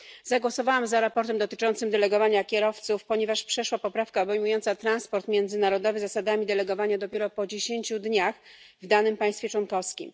Zagłosowałam za sprawozdaniem dotyczącym delegowania kierowców, ponieważ przeszła poprawka obejmująca transport międzynarodowy zasadami delegowania dopiero po dziesięciu dniach w danym państwie członkowskim.